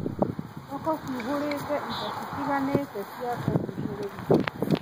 Thoko ĩihũrĩte indo itiganĩte cia kũgucĩrĩria.